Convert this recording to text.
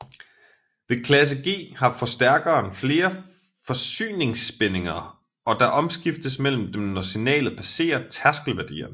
Ved klasse G har forstærkeren flere forsyningsspændinger og der omskiftes mellem dem når signalet passerer tærskelværdierne